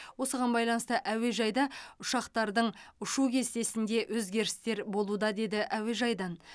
осыған байланысты әуежайда ұшақтардың ұшу кестесінде өзгерістер болуда деді әуежайдан